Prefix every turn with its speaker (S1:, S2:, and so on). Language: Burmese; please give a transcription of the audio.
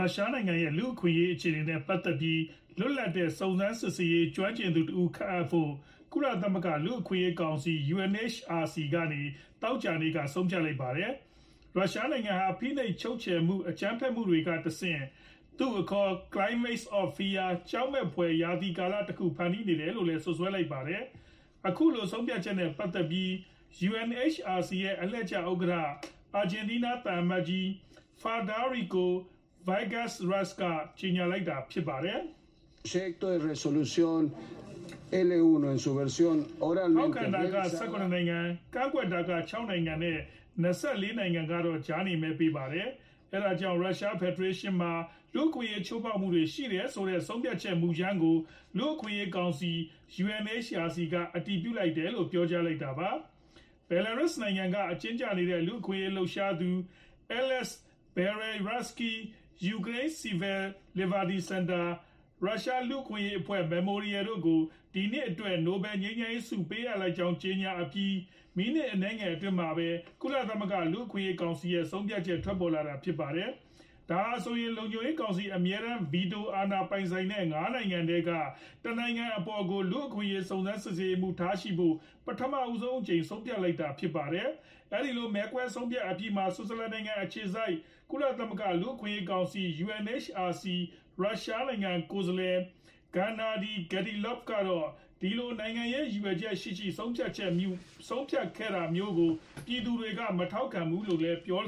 S1: ုရှားနိုင်ငံရဲ့ လူ့အခွင့်အရေး အခြေအနေနဲ့ ပတ်သက်ပြီး လွတ်လပ်တဲ့ စုံစမ်းစစ်ဆေးရေး ကျွမ်းကျင်သူတဦး ခန့်အပ်ဖို့ ကုလသမဂ္ဂ လူ့အခွင့်အရေး ကောင်စီ UNHRC ကနေ သောကြာနေ့က ဆုံးဖြတ်လိုက်ပါတယ်။ ရုရှားနိုင်ငံဟာ ဖိနှိပ်ချုပ်ချယ်မှု အကြမ်းဖက်မှုတွေကတဆင့် သူ့အခေါ် "climate of Fear" ကြောက်မက်ဖွယ် ရာသီကာလ တခု ဖန်တီးနေတယ် လို့လဲစွပ်စွဲထားပါတယ်။ အခုဆုံးဖြတ်ချက်နဲ့ ပတ်သက်ပြီး UNHRC ရဲ့ အလှည့်ကျ ဥက္ကဌ အာဂျင်တီးနား သံအမတ်ကြီး Federico Villegas က အခုလို ကြေညာလိုက်ပါတယ်။
S2: “ ထောက်ခံတာက ၁၇
S1: နိုင်ငံ ၊ ကန့်ကွက်တာက ၆ နိုင်ငံ နဲ့ ၂၄ နိုင်ငံကတော့ ကြားနေမဲပေးပါတယ်။ အဲဒီကြောင့် ရုရှား ဖက်ဒရေးရှင်းနိုင်ငံမှာ လူ့အခွင့်အရေး ချိုးဖောက်မှုတွေရှိတယ်ဆိုတဲ့ ဆုံးဖြတ်ချက် မှုကြမ်းကို လူအခွင့်အရေးးကောင်စီ UNHRC က အတည်ပြုလိုက်တယ်လို” ပြောကြားလိုက်တာပါ။ Belarus နိုင်ငံက အကျဉ်းကျနေတဲ့ လူ့အခွင့်အရေး လှုပ်ရှားသူ Ales Byalyatski၊ ယူကရိန်း Civil Liberties စင်တာ ၊ ရုရှားလူ့အခွင့်အရေးအဖွဲ့ Memorial တို့ကို ဒီနှစ်အတွက် နိုဘယ်လ်ငြိမ်းချမ်းရေးဆု ပေးအပ်လိုက်ကြောင်း ကြေညာအပြီး မီနစ်အနည်းငယ်အတွင်းမှာ ကုလသမဂ္ဂ လူ့အခွင့်အရေး ကောင်စီ ရဲ့ ဆုံးဖြတ်ချက် ထွက်ပေါ်လာတာဖြစ်ပါတယ်။ ဒါဟာဆိုရင် လုံခြုံရေးကောင်စီ အမြဲတန်း Veto အာဏာပိုင်ဆိုင်တဲ့ ၅ နိုင်ငံထဲက တနိုင်ငံအပေါ်ကို လူ့အခွင့်အရေး စုံစမ်းစစ်ဆေးရေးမှူး ထားရှိဖို့ ပထမအကြိမ် ဆုံးဖြတ်လိုက်တာဖြစ်ပါတယ်။ အဲဒီလို မဲခွဲဆုံးဖြတ်အပြီးမှာ ဆွစ်ဇာလန်နိုင်ငံ အခြေစိုက် ကုလသမဂ္ဂ လူ့အခွင့်အရေး ကောင်စီ UNHRC ဆိုင်ရာ ရုရှား ကိုယ်စားလှယ် Gennady Gatilov ကတော့ ဒီလို နိုင်ငံရေး ရည်ရွယ်ချက်ရှိတဲ့ ဆုံးဖြတ်ချက်မျိုးကို ပြည်သူတွေက မထောက်ခံပါဘူးလို့ သူကပြော